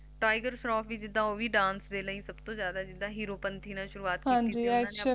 Tiger Shroff ਵੀ ਜਿੱਦਾ Dance ਲਈ ਸਬਤੋਂ ਜਾਦਾ ਜਿੱਦਾ Heropanti ਨਾਲ਼ ਸ਼ੁਰੂਆਤ ਕੀਤੀ ਸੀ